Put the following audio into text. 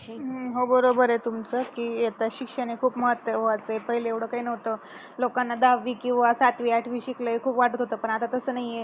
अं हो बरोबर आहे तुमच की आता शिक्षण हे खूप महत्वाच आहे पहिले एवढ काही नव्हत लोकांना दहावी किंवा सातवी, आठवी शिकल हे खूप वाटत होत पण आता तस नाही आहे